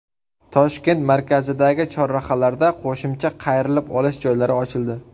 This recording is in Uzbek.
Toshkent markazidagi chorrahalarda qo‘shimcha qayrilib olish joylari ochildi.